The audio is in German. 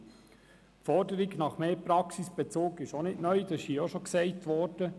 Die Forderung nach mehr Praxisbezug ist auch nicht neu, was bereits gesagt wurde.